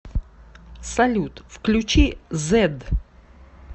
салют включи зедд